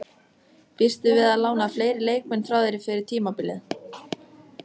Býstu við að lána fleiri leikmenn frá þér fyrir tímabilið?